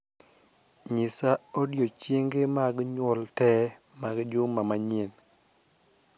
Nyisa odiechienge mag nyuol tee mag juma manyien